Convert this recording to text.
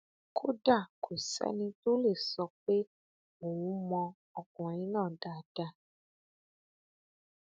kódà kò sẹni tó lè sọ pé òun mọ ọkùnrin náà dáadáa